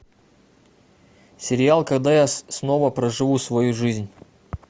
сериал когда я снова проживу свою жизнь